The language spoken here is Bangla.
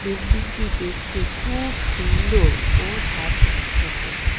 বিল্ডিংটি দেখতে খুব সুন্দর ও ঝাঁ চকচকে।